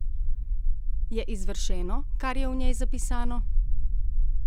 Je izvršeno, kar je v njej zapisano?